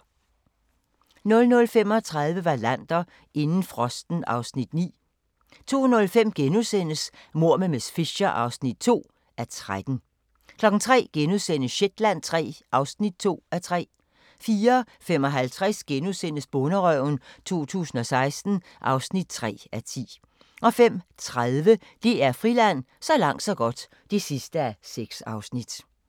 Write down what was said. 00:35: Wallander: Inden frosten (Afs. 9) 02:05: Mord med miss Fisher (2:13)* 03:00: Shetland III (2:3)* 04:55: Bonderøven 2016 (3:10)* 05:30: DR Friland: Så langt så godt (6:6)